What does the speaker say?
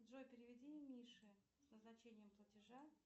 джой переведи мише с назначением платежа